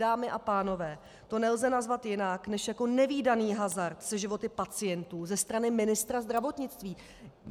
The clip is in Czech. Dámy a pánové, to nelze nazvat jinak než jako nevídaný hazard se životy pacientů ze strany ministra zdravotnictví!